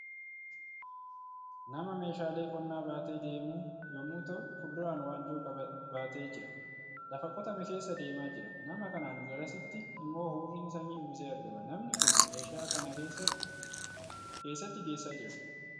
Nama meeshaalee qonnaa baatee deemu yommuu ta'u, fuulduraan wanjoo baatee jira. Lafa qotame keessa deemaa jira. Nama kanaan garasitti immoo hurriin samii uwwisee argama. Namni kun meeshaa kana eessatti geessaa jira?